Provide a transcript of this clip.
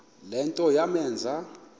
le nto yamenza